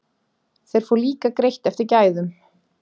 Þeir fá líka greitt eftir gæðum.